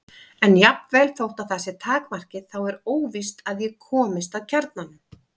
En jafnvel þótt það sé takmarkið þá er óvíst að ég komist að kjarnanum.